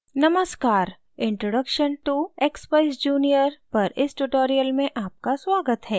नमस्कार introduction to expeyes junior पर इस tutorial में आपका स्वागत है